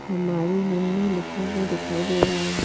हमारी नन्नू लिखा हुआ दिखाई दे रहा है।